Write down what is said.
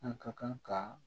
An ka kan ka